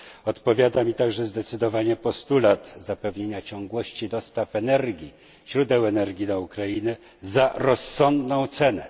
Odpowiada mi także zdecydowanie postulat zapewnienia ciągłości dostaw energii, źródeł energii na Ukrainę za rozsądną cenę.